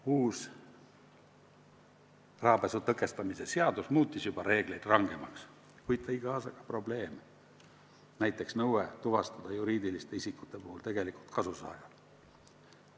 Uus rahapesu tõkestamise seadus juba muutis reegleid rangemaks, kuid tõi kaasa ka probleeme, näiteks nõude tuvastada juriidiliste isikute puhul tegelik kasusaaja.